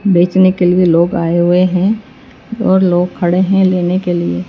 बेचने के लिए लोग आए हुए हैं और लोग खड़े हैं लेने के लिए--